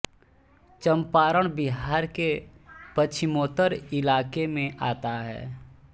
चंपारण बिहार के पश्चिमोत्तर इलाके में आता है